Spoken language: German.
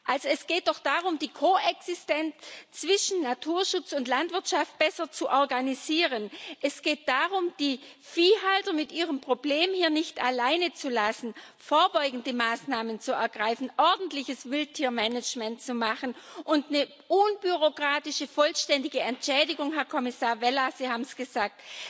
Also es geht doch darum, die Koexistenz zwischen Naturschutz und Landwirtschaft besser zu organisieren. Es geht darum, die Viehhalter mit ihrem Problem nicht alleine zu lassen, vorbeugende Maßnahmen zu ergreifen, ordentliches Wildtiermanagement zu machen, und um eine unbürokratische vollständige Entschädigung Herr Kommissar Vella, Sie haben es gesagt.